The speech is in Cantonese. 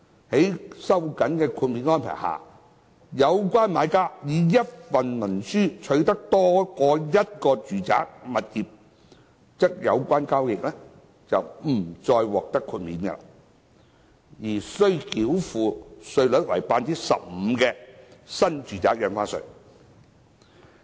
在經收緊的豁免安排下，若有關買家以一份文書取得多於一個住宅物業，則有關交易將不再獲得豁免，而須繳付稅率為 15% 的新住宅印花稅。